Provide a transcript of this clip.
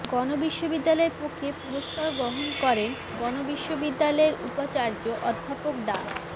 গণবিশ্ববিদ্যালয়ের পক্ষে পুরস্কার গ্রহণ করেন গণবিশ্ববিদ্যালয়ের উপাচার্য অধ্যাপক ডা